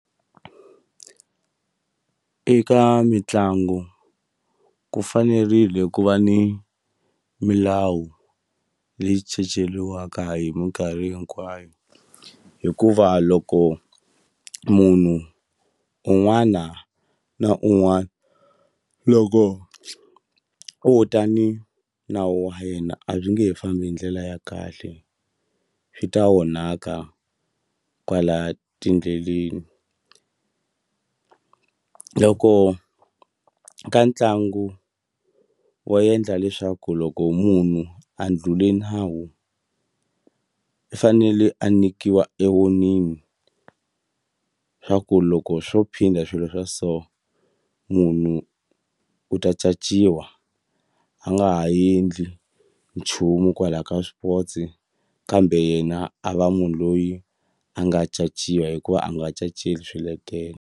Eka mitlangu ku fanerile ku va ni milawu leyi caceliwaka hi minkarhi hinkwayo hikuva loko munhu un'wana na un'wana loko wo tani nawu wa yena a byi nge he fambi hi ndlela ya kahle swi ta onhaka kwala tindleleni loko ka ntlangu wo endla leswaku loko munhu a ndlhule nawu i fanele a nikiwa e warning swa ku loko swo phinda swilo swa so munhu u ta caciwa a nga ha endli nchumu kwala ka swipotsi kambe yena a va munhu loyi a nga caciwa hikuva a nga caceli swiletelo.